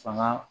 Fanga